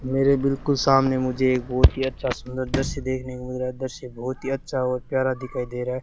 मेरे बिल्कुल सामने मुझे एक बहोत ही अच्छा सुंदर दृश्य देखने को मिल रहा है दृश्य बहोत ही अच्छा और प्यारा दिखाई दे रहा है।